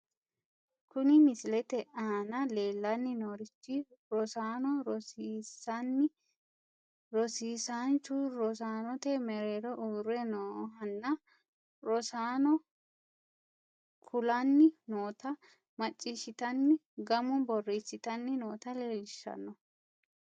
Kuni misilete aana leellanni noorichi rosaano rosiisanni rosiisaanchu rosaanote mereero uurre noohanna rosaanono kulanni noota maciishshitanni gamu borreessitanni noota leellishshanno.